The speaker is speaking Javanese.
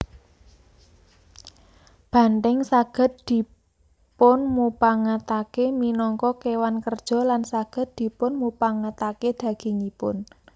Banthèng saged dipunmupangatake minangka kéwan kerja lan saged dipunmupangatakedagingipun